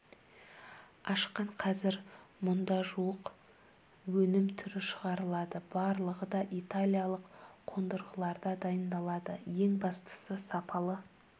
ашқан қазір мұнда жуық өнім түрі шығарылады барлығы да италиялық қондырғыларда дайындалады ең бастысы сапалы